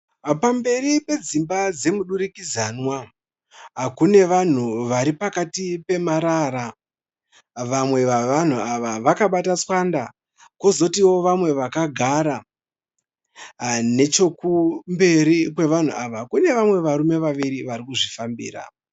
Pamberi pedzimba dzemudurikidzanwa, kune vanhu vari pakati pemarara. Vamwe vavanhu ava vakabata tswanda, kozotiwo vamwe vakagara. Nechokumberi kwevanhu ava kune vamwe varume vaviri vari kuzvifambira